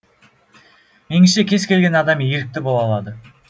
меніңше кез келген адам ерікті бола алады